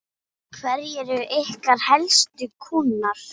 Hverjir eru ykkar helstu kúnnar?